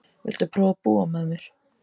Viltu prófa að búa með mér.